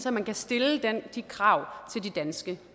at man kan stille de krav til de danske